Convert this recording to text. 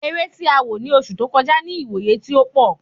Eré tí a wò ni oṣù tó kọjá ni iwoye ti ó pọ